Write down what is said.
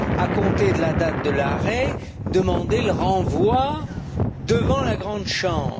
à compter de la date de l'arrêt, demander le renvoi devant la Grande Chambre.